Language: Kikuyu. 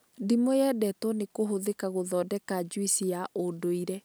Ndimũ yendetwo nĩ kũhũthĩka gũthondeka juici ya ũndũire